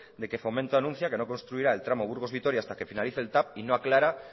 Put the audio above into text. de que fomento anuncia que no construiría el tramo burgos vitoria hasta que finalice el tav y no aclara